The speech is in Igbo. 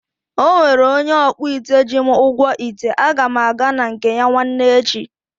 Ọnwere onye ọkpụite ji m ụgwọ ite, aga m aga na nke ya nwanne echi